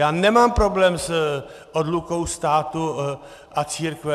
Já nemám problém s odlukou státu a církve.